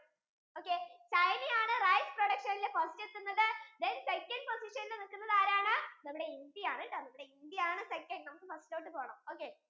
okay china ആണ് rice production യിൽ first നിക്കുന്നത് then second position യിൽ നിക്കുന്നത് ആരാണ് നമ്മുടെ India ആണാട്ടോ ഇന്ത്യ ആണ് second അവിടെ നിന്ന് first ഇലോട്ടു പോണം